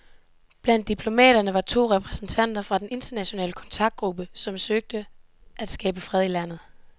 Blandt diplomaterne var to repræsentanter fra den internationale kontaktgruppe, som søger at skabe fred i landet.